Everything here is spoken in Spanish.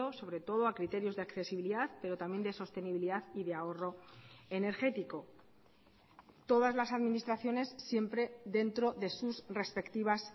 sobre todo a criterios de accesibilidad pero también de sostenibilidad y de ahorro energético todas las administraciones siempre dentro de sus respectivas